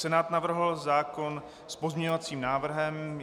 Senát navrhl zákon s pozměňovacím návrhem.